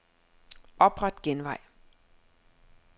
Opret genvej.